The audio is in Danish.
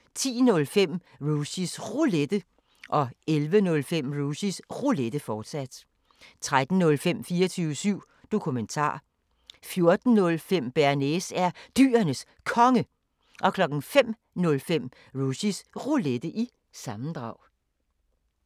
10:05: Rushys Roulette 11:05: Rushys Roulette, fortsat 13:05: 24syv Dokumentar 14:05: Bearnaise er Dyrenes Konge 05:05: Rushys Roulette – sammendrag